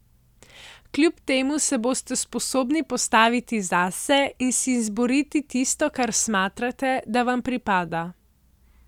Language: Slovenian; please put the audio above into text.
Kljub temu se boste sposobni postaviti zase in si izboriti tisto, kar smatrate, da vam pripada.